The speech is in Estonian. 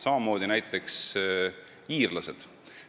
Samamoodi iirlased.